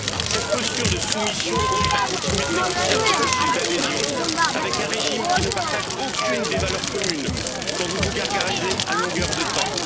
Cette posture de soumission conduit à continuer de négocier un processus d'adhésion avec un régime qui ne partage aucune des valeurs communes dont vous vous gargarisez à longueur de temps.